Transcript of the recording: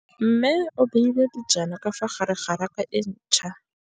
Mmê o beile dijana ka fa gare ga raka e ntšha.